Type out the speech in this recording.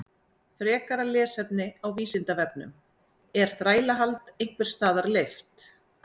Frekara lesefni á Vísindavefnum Er þrælahald einhvers staðar leyft?